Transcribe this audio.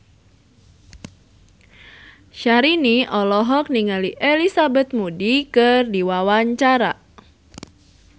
Syahrini olohok ningali Elizabeth Moody keur diwawancara